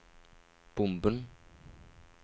bomben